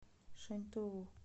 шаньтоу